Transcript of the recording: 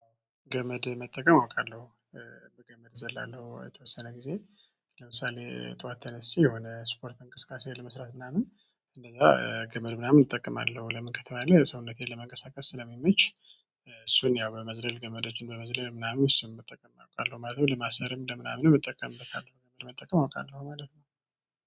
ገመድ መጠቀም አውቃለሁ። በገመድ ዘላለሁ የተወሰነ ጊዜ። ለምሳሌ ጠዋት ተነስቼ የሆነ ስፖርት እንቅስቃሴ ለመስራት ምናምን እንደዛ ገመድ ምናምን እጠቀማለሁ። ለምን ከተባለ ሰውነቴን ለመንቀሳቀስ ስለሚመች እሱን ያው በመዝለል ገመደችን በመዝለል ምናምን እሱን ብጠቀም አለው ማለት ነው። ለማሰርም ለምናምን እጠቀምበታለው መጠቀም አውቃለሁ ማለት ነው